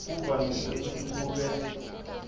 kuvamise kutsi kube